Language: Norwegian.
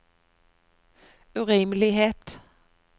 urimelighet